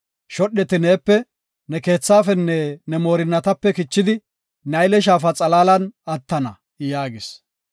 Shodheti neepe, ne keethaafenne, ne moorinatape kichidi Nayle Shaafa xalaalan attana” yaagis.